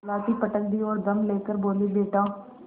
लाठी पटक दी और दम ले कर बोलीबेटा